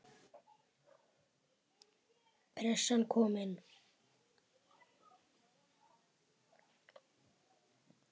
Pressan komin.